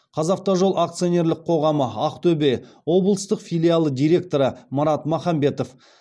қазавтожол акционерлік қоғамы ақтөбе облыстық филиалы директоры марат махамбетов